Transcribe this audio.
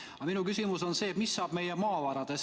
Aga minu küsimus on selline: mis saab meie maavaradest?